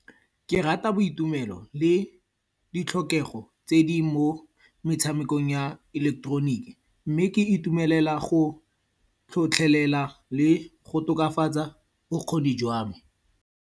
Ke rata boitumelo le ditlhokego tse di mo metshamekong ya ileketoroniki. Mme ke itumelela go tlhotlhelela le go tokafatsa bokgoni jwa me.